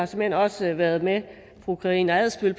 såmænd også har været med fru karina adsbøl